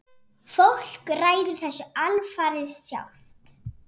Fólk ræður þessu alfarið sjálft.